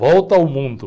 Volta ao mundo.